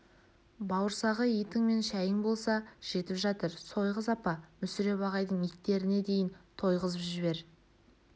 бауырсағы итің мен шайың болса жетіп жатыр сойғыз апа мүсіреп ағайдың иттеріне дейін тойғызып жібер